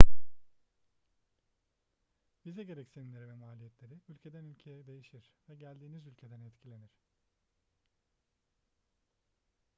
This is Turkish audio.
vize gereksinimleri ve maliyetleri ülkeden ülkeye değişir ve geldiğiniz ülkeden etkilenir